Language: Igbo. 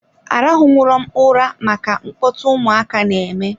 Arahu nwurom ụra maka mkpọtụ ụmụaka na-eme.